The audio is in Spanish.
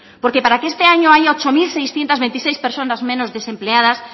porque para que este año haya ocho mil seiscientos veintiséis personas menos desempleadas